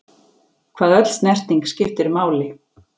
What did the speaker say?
Hvað öll snerting skiptir máli.